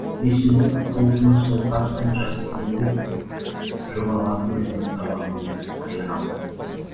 есілдің толқыны сол қарттың жастығын қуыпты жоғалған өлеңін табамын деп қай аралдан